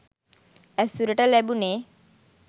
ඇසුරට ලැබුණෙ.